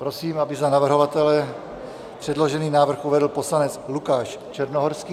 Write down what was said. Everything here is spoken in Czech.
Prosím, aby za navrhovatele předložený návrh uvedl poslanec Lukáš Černohorský.